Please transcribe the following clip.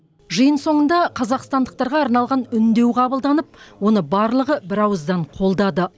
жиын соңында қазақстандықтарға арналған үндеу қабылданып оны барлығы бірауыздан қолдады